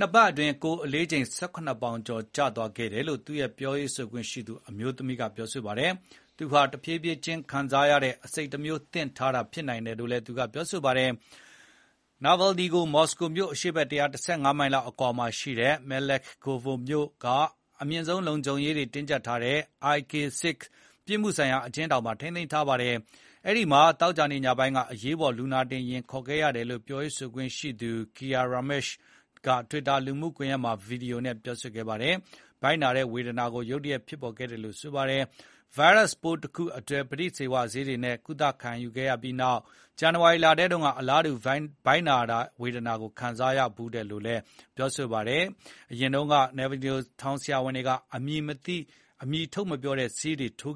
၂ ပတ်အတွင်း ကိုယ်အလေးချိန် ၁၇ ပေါင်ကျော် ကျသွားခဲ့တယ်လို့ သူ့ရဲ့ ပြောရေးဆိုခွင့်ရှိသူ အမျိုးသမီးက ပြောပါတယ်။ ဒါဟာ တဖြည်းဖြည်းချင်း အာနိသင်ပြတဲ့ အဆိပ်တမျိုးသင့်တဲ့ ဒဏ် ဖြစ်နိုင်တယ်လို့ ဆိုပါတယ်။ နာဗယ်လ်နီကို မော်စကိုမြို့အရှေ့ဘက် ၁၁၅ မိုင်လောက် အကွာမှာရှိတဲ့ မယ်လက်ခ်ကိုဗိုမြို့ က အမြင့်ဆုံးလုံခြုံရေး ချထားတဲ့ IK-6 ပြစ်မှုဆိုင်ရာ အကျဉ်းထောင်မှာ ထိန်းသိမ်းထားတာပါ။ အဲဒီမှာ သောကြာနေ့ ညပိုင်းက အရေးပေါ်လူနာတင်ယာဉ် ခေါ်ခဲ့ရတယ်လို့ ပြောရေးဆိုခွင့်ရှိသူ ကီယာ ရာမက်ရှ်က တွစ်တာ လူမှုကွန်ရက်က ဗီဒီယိုဖိုင်တခုမှာ ပြောပါတယ်။ ဗိုက်နာတဲ့ ဝေဒနာ ရုတ်တရက်ရခဲ့တယ် ဆိုပါတယ်။ ဗိုင်းရပ်စ်ပိုးတခုအတွက် ပဋိဇီဝဆေးတွေနဲ့ ကုသခံရပြီးနောက်ပိုင်း ပြီးခဲ့တဲ့ ဇန်နဝါရီတုန်းကလည်း အလားတူ ဗိုက်နာတဲ့ဝေဒနာ ခံစားခဲ့ရဖူးတယ်လို့ ပြောပါတယ်။ အရင်တုန်းက နာဗယ်လ်နီကို ထောင်ဆရာဝန်တွေက အမျိုးအမည် ထုတ်မပြောတဲ့ ဆေးတွေ ထိုး